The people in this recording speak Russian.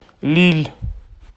лилль